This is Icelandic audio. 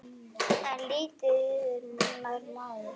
En lítið yður nær maður.